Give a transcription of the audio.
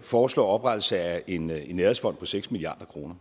foreslår oprettelse af en nærhedsfond på seks milliard kroner